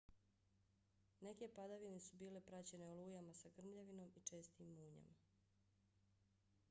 neke padavine su bile praćene olujama sa grmljavinom i čestim munjama